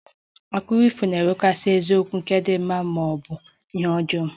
Akụkọ ifo na-enwekarị isiokwu nke di mma ma ọ bụ ihe ọjọọ